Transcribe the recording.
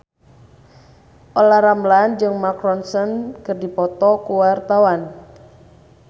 Olla Ramlan jeung Mark Ronson keur dipoto ku wartawan